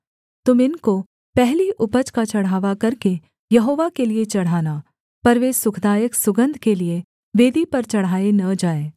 तुम इनको पहली उपज का चढ़ावा करके यहोवा के लिये चढ़ाना पर वे सुखदायक सुगन्ध के लिये वेदी पर चढ़ाए न जाएँ